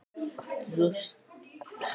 Þú skalt þá segja henni þetta sjálf!